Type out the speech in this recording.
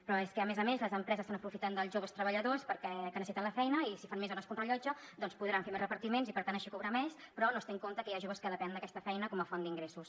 però és que a més a més les empreses s’aprofiten dels joves treballadors que necessiten la feina i si fan més hores que un rellotge doncs podran fer més repartiments i per tant així cobrar més però no es té en compte que hi ha joves que depenen d’aquesta feina com a font d’ingressos